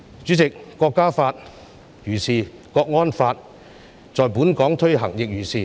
主席，《國歌法》如是，國安法在本港的推行亦如是。